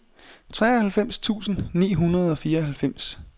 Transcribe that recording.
treoghalvfems tusind ni hundrede og fireoghalvfems